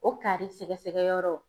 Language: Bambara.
O kari sɛgɛsɛgɛ yɔrɔ